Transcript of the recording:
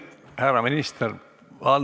Härra minister!